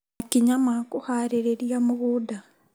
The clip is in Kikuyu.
Makinya ma kũharĩria mũgũnda